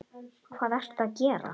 Hvað ertu að gera!